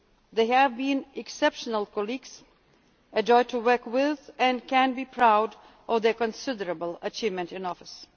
They have been exceptional colleagues, a joy to work with, and can be proud of their considerable achievements in office.